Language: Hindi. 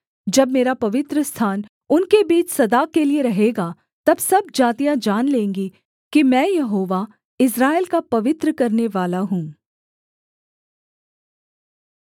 जब मेरा पवित्रस्थान उनके बीच सदा के लिये रहेगा तब सब जातियाँ जान लेंगी कि मैं यहोवा इस्राएल का पवित्र करनेवाला हूँ